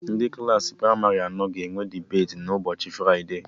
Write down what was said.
Ndị Klassị pramarị anọ ga-eme debeti na ụbọchị fride